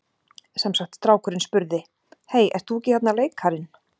Sem sagt strákurinn spurði: Hey, ert þú ekki þarna leikarinn?